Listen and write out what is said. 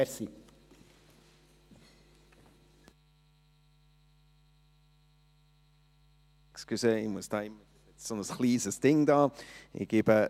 Entschuldigung, ich muss hier immer wieder ein kleines Ding betätigen …